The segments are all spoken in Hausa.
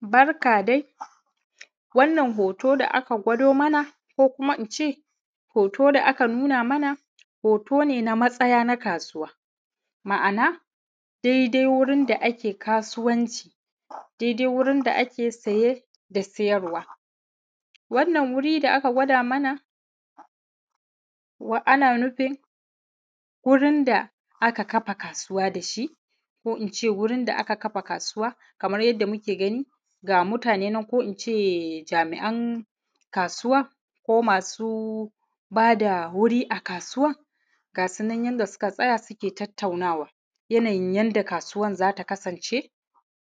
Barka dai, wannan hoto da aka kwado mana ne, kokuma in ce hoto da aka nuna mana otone na matsaya na kasuwa, ma’ana dai, da wurin da ake kasuwanci. Dai-dai wurin da ake saye da sayrwa, wannan wurin da aka gwado mana, wannan na nufin wurin da aka kafa kasuwa da shi, ko kuma in ce wurin da aka kafa kasuwa, kamar yadda muke gani, ga mutane nan, ko kuma in ce jami'an kasuwa, ko masu ba da wuri a kasuwa, ga sunan yanda suka tsaya suka zantawa, yanayin yanda kasuwan za ta kasance,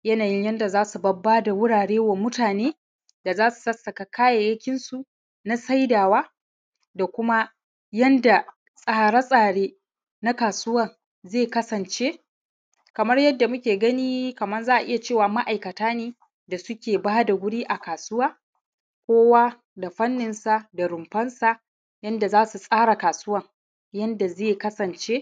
yanayin yanda za su bada wuraren wa mutane da za su sassaka kayayyakin shima na saidawa da kuma yanda tsare-tsare na kasuwan ze kasance. Kamar yanda muke gani kamar za’iya ce, ma'aikata ne da suka bada wuri a kasuwa, kuwa da fannin shin, da runfansu, yanda za su tsara kasuwan yanda ze kasance,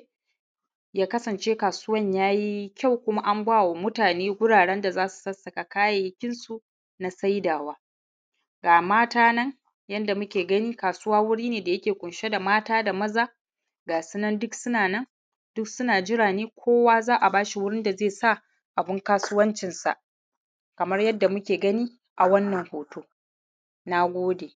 yakansance kasuwa yakasance kasuwan ya yi kyau, kuma amsa wa mutane gurare da za su sassaka kayayyakin su na saidawa. Ga mata nan, yanda muke gani, kasuwa wuri ne dai yake ƙunshe da mata da maza, ga sunan duk suna na, duk suna nan, duk suna jira ne, kuwa za a iya ba su wurin da za su sa sa abun kasuwancinsa, kamar yanda muke gani a wannan hoto. Nagode.